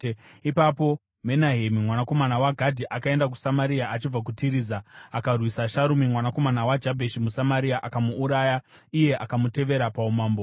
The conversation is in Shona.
Ipapo Menahemi mwanakomana waGadhi akaenda kuSamaria achibva kuTiriza. Akarwisa Sharumi mwanakomana waJabheshi muSamaria, akamuuraya iye akamutevera paumambo.